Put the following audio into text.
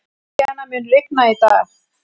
Emilíana, mun rigna í dag?